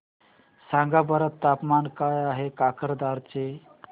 सांगा बरं तापमान काय आहे काकरदरा चे